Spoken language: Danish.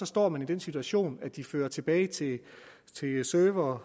står man i den situation at de fører tilbage til servere